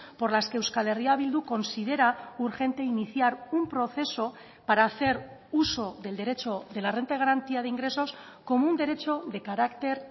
por las que euskal herria bildu considera urgente iniciar un proceso para hacer uso del derecho de la renta de garantía de ingresos como un derecho de carácter